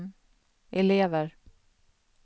elever